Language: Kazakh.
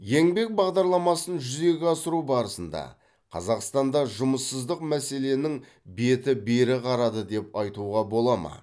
еңбек бағдарламасын жүзеге асыру барысында қазақстанда жұмыссыздық мәселенің беті бері қарады деп айтуға бола ма